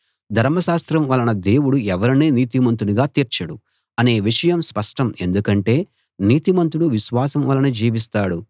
ధర్మశాస్త్రం వలన దేవుడు ఎవరినీ నీతిమంతునిగా తీర్చడు అనే విషయం స్పష్టం ఎందుకంటే నీతిమంతుడు విశ్వాసం వలన జీవిస్తాడు